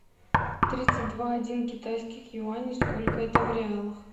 тридцать два один китайских юаней сколько это в реалах